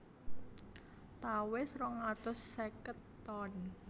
Tawes rong atus seket ton